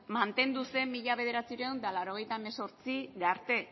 mantendu zen mila bederatziehun eta laurogeita hemezortzira arte